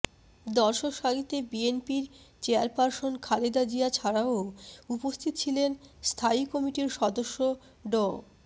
দর্শক সারিতে বিএনপির চেয়ারপারসন খালেদা জিয়া ছাড়াও উপস্থিত ছিলেন স্থায়ী কমিটির সদস্য ড